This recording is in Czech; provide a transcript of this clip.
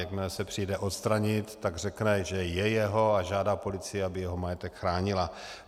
Jakmile se přijede odstranit, tak řekne, že je jeho, a žádá policii, aby jeho majetek chránila.